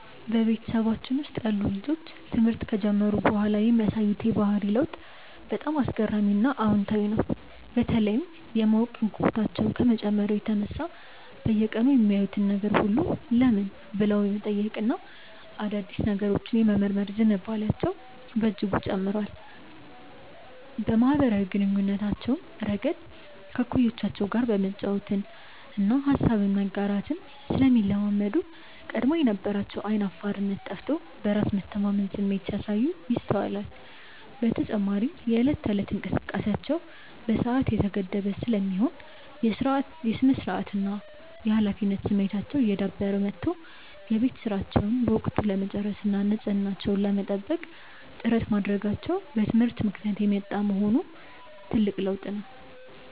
በቤተሰባችን ውስጥ ያሉ ልጆች ትምህርት ከጀመሩ በኋላ የሚያሳዩት የባህሪ ለውጥ በጣም አስገራሚና አዎንታዊ ነው፤ በተለይም የማወቅ ጉጉታቸው ከመጨመሩ የተነሳ በየቀኑ የሚያዩትን ነገር ሁሉ "ለምን?" ብለው የመጠየቅና አዳዲስ ነገሮችን የመመርመር ዝንባሌያቸው በእጅጉ ጨምሯል። በማኅበራዊ ግንኙነታቸውም ረገድ ከእኩዮቻቸው ጋር መጫወትንና ሐሳብን መጋራትን ስለሚለማመዱ፣ ቀድሞ የነበራቸው ዓይን አፋርነት ጠፍቶ በራስ የመተማመን ስሜት ሲያሳዩ ይስተዋላል። በተጨማሪም የዕለት ተዕለት እንቅስቃሴያቸው በሰዓት የተገደበ ስለሚሆን፣ የሥነ-ስርዓትና የኃላፊነት ስሜታቸው እየዳበረ መጥቶ የቤት ሥራቸውን በወቅቱ ለመጨረስና ንጽሕናቸውን ለመጠበቅ ጥረት ማድረጋቸው በትምህርት ምክንያት የመጣ ትልቅ ለውጥ ነው።